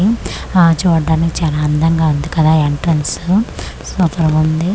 ఆ చూడ్డానికి చానా అందంగా ఉంది కదా ఎంట్రెన్సు సూపరు గుంది .